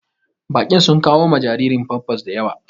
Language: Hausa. Baƙin sun kawo ma jariri pampas daƴawa.